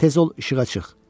Tez ol işığa çıx.